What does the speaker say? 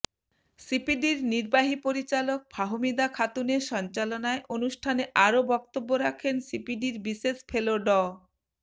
সিপিডির নির্বাহী পরিচালক ফাহমিদা খাতুনের সঞ্চালনায় অনুষ্ঠানে আরও বক্তব্য রাখেন সিপিডির বিশেষ ফেলো ড